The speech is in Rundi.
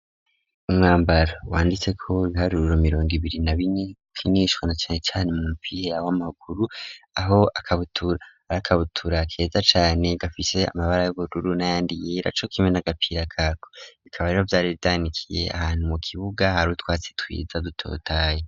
umwambaro wanditseko ibiharuro mirongo ibiri na bine bikinishwa na cane cane mu mupira w'amaguru aho akabutura keza cane gafise amabara y'ubururu nayandi yera co kimwe n,agapira kako bikaba rero vyari vyanikiye ahantu mu kibuga hari utwatsi twiza dutotahaye.